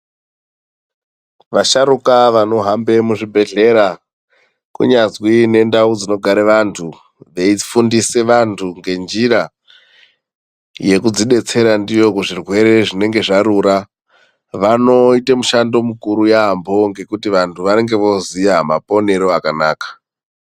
Vasharuka vanohambe muzvibhedhlera kunyazwi nendau dzinogare vantu veifundisa vantu ngenjira yekuzvidetsera ndiyo kuzvirwere zvinenge zvarura vanoita mushando mukuru yaamho ngekuti vantu vanenge vooziya maponero akanaka.